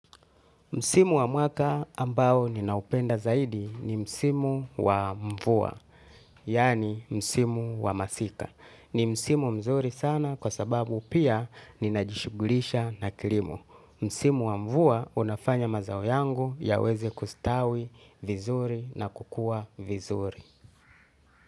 Msimu wa mwaka ambao ninaupenda zaidi ni msimu wa mvua, yani msimu wa masika. Ni msimu mzuri sana kwa sababu pia ninajishugulisha na kilimo. Msimu wa mvua inafanya mazao yangu yaweze kustawi vizuri na kukua vizuri.